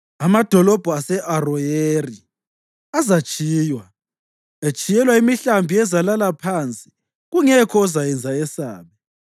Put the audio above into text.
Amadolobho ase-Aroyeri azatshiywa, etshiyelwa imihlambi ezalala phansi kungekho ozayenza yesabe.